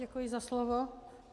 Děkuji za slovo.